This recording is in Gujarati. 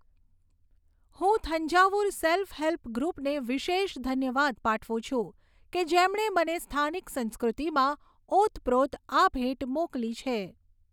હું થંજાવુર સેલ્ફ હેલ્પ ગ્રૃપને વિશેષ ધન્યવાદ પાઠવું છું, કે જેમણે મને સ્થાનિક સંસ્કૃતિમાં ઓતપ્રોત આ ભેટ મોકલી છે.